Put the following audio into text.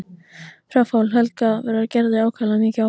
Fráfall Helga verður Gerði ákaflega mikið áfall.